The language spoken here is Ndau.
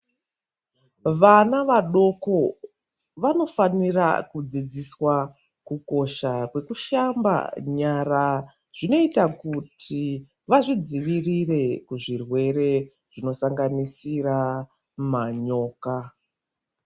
Vana vadoko vanofanira kudzidziswa kukosha kwekushamba nyara zvinoita kuti vazvidzivirire kuzvirwere zvinosanganisira manyoka.